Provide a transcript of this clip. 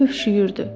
Tövşüyürdü.